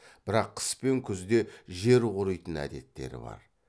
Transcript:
бірақ қыс пен күзде жер қоритын әдеттері бар